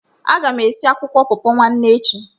Aga m esi akwụkwọ pọọpọ nwanne echi.